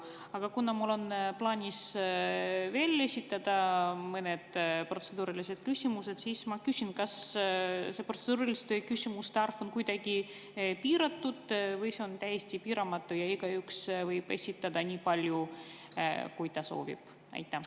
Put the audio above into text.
Aga kuna mul on plaanis esitada veel mõned protseduurilised küsimused, siis ma küsin: kas see protseduuriliste küsimuste arv on kuidagi piiratud või see on täiesti piiramatu ja igaüks võib neid esitada nii palju, kui ta soovib?